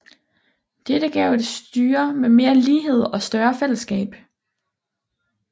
Dette gav et styre med mere lighed og større fællesskab